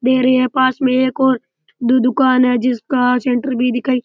दे रहे है पास में एक और पास में दो और दुकान है जिसका सेण्टर भी दिखा --